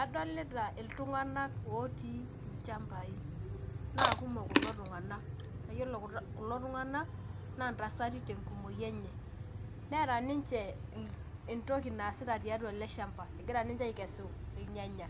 Adolita ltung'anak otiu lchambai nakumok kulo tung'anak, na iyolo kulo tung'anak na ntasati tenkumoi enye neeta ninche entoki naasita tiatua eleshamba egira ninche aikesu irnyanya,